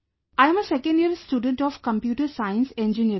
I am a second year student of Computer Science Engineering